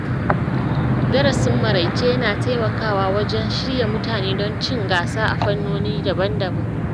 Darasin maraice yana taimakawa wajen shirya mutane don cin gasa a fannoni daban-daban.